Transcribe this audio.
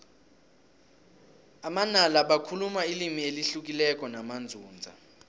amanala bakhuluma ilimi elihlukileko namanzunza